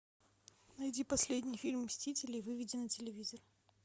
найди последний фильм мстители и выведи на телевизор